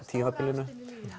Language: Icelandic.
tímabilinu